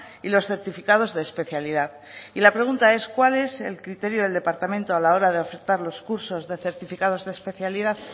y los certificados de especialidad y la pregunta es cuál es el criterio del departamento a la hora de ofertar los cursos de certificados de especialidad